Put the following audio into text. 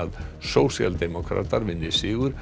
sósíaldemókratar vinni sigur